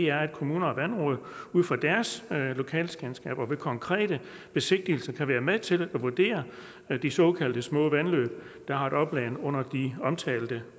er at kommuner og vandråd ud fra deres lokalkendskab og ved konkrete besigtigelser kan være med til at vurdere de såkaldte små vandløb der har et opland på under de omtalte